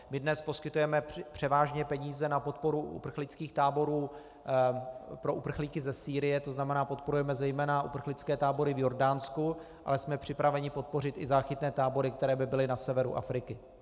My dnes poskytujeme převážně peníze na podporu uprchlických táborů pro uprchlíky ze Sýrie, to znamená podporujeme zejména uprchlické tábory v Jordánsku, ale jsme připraveni podpořit i záchytné tábory, které by byly na severu Afriky.